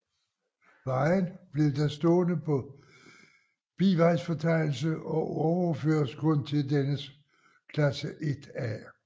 Vejen blev da stående på bivejsfortegnelse og overføres kun til dennes klasse 1 A